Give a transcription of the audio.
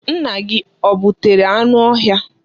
Nna gị o gbutere anụ ọhịa?